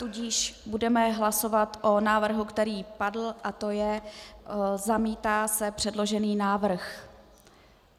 Tudíž budeme hlasovat o návrhu, který padl, a to je: zamítá se přeložený návrh.